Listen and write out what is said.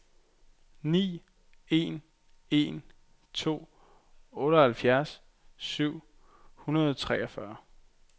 ni en en to otteoghalvfjerds syv hundrede og treogfyrre